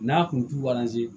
N'a kun tubaz